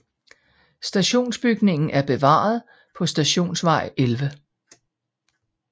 Stationsbygningen er bevaret på Stationsvej 11